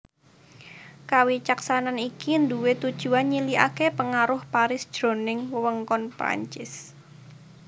Kawicaksanan iki nduwé tujuan nyilikaké pengaruh Paris jroning wewengkon Perancis